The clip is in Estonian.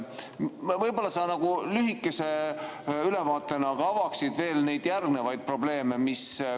Võib-olla sa lühikese ülevaatena avaksid veel järgnevaid probleeme?